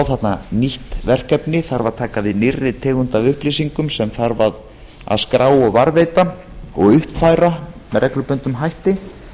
þarna nýtt verkefni þarf að taka við nýrri tegund af upplýsingum sem þarf að skrá og varðveita og uppfæra með reglubundnum hætti